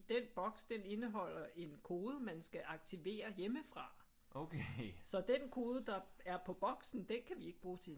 Den boks den indeholder en kode man skal aktivere hjemmefra så den kode der er på boksen den kan vi ikke bruge til en